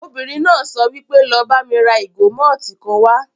Obìnrin náà sọ wípé 'lọ bá mi ra ìgò mọ́tìì kan wá'